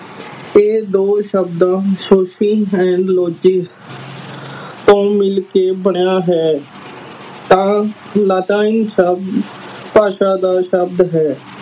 ਇਹ ਦੋ ਸ਼ਬਦਾਂ ਤੋਂ ਮਿਲ ਕੇ ਬਣਿਆ ਹੈ ਤਾ ਲੈਟਿਨ ਸ਼ਬਦ ਭਾਸ਼ਾ ਦਾ ਸ਼ਬਦ ਹੈ